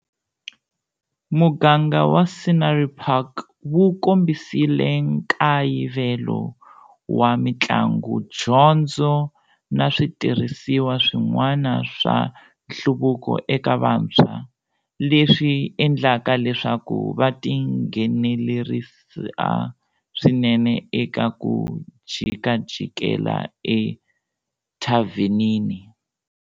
Muganga wa Scenery Park wu kombisile nkayivelo wa mitlangu, dyondzo na switirhisiwa swin'wani swa nhluvuko eka vantshwa, leswi endlaka leswaku va tinghenelerisa swinene eka 'ku jikajikela ethavenini'.